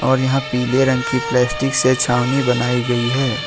और यहां पीले रंग की प्लास्टिक से छावनी बनाई गई है।